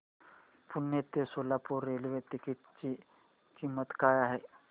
पुणे ते Solapur railway ticket ची किंमत काय आहे